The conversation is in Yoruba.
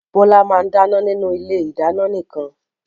Bọ́lá máa ń dáná nínú ilé-ìdáná nìkan.